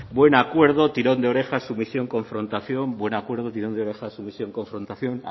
buen acuerdo tirón de orejas sumisión confrontación buen acuerdo tirón de orejas sumisión confrontación